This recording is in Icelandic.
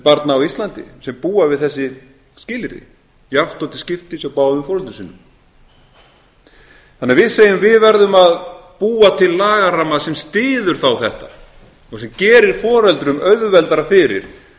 barna á íslandi sem búa við þessi skilyrði jafnt og til skiptis hjá báðum foreldrum sínum þannig að við segjum við verðum að búa til lagaramma sem styður þá þetta og sem gerir foreldrum auðveldara fyrir